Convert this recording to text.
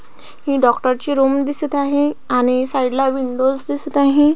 ही doctor ची room दिसत आहे आणि साइड ला विंडोज दिसत आहे.